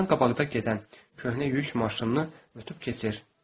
Özündən qabaqda gedən köhnə yük maşınını ötüb keçir.